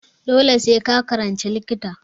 Dole sai ka yi likita!